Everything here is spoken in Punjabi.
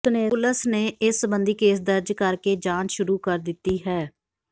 ਪੁਲਸ ਨੇ ਇਸ ਸੰਬੰਧੀ ਕੇਸ ਦਰਜ ਕਰਕੇ ਜਾਂਚ ਸ਼ੁਰੂ ਕਰ ਦਿੱਤੀ ਹੈ